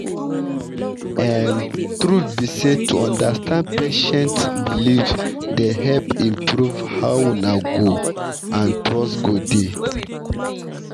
um truth be say to understand patient beliefs dey help improve how una go and trust go dey